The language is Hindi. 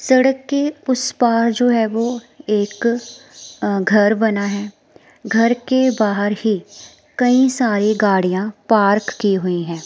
सड़क के उस पार जो है वो एक अ घर बना है। घर के बाहर ही कई सारी गाड़ियां पार्क की हुई हैं।